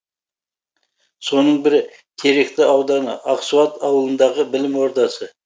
соның бірі теректі ауданы ақсуат ауылындағы білім ордасы